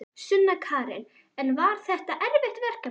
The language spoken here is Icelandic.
Sunna Karen: En var þetta erfitt verkefni?